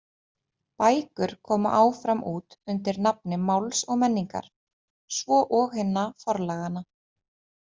Bækur koma áfram út undir nafni Máls og menningar, svo og hinna forlaganna.